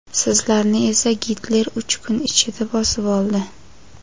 Sizlarni esa Gitler uch kun ichida bosib oldi.